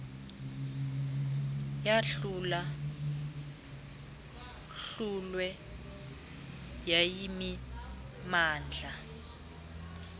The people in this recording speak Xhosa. yahlula hlulwe yayimimandla